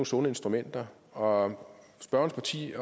sunde instrumenter og spørgerens parti